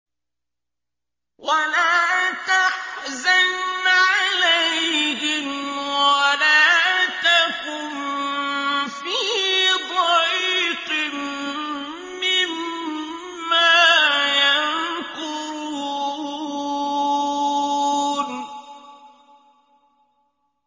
وَلَا تَحْزَنْ عَلَيْهِمْ وَلَا تَكُن فِي ضَيْقٍ مِّمَّا يَمْكُرُونَ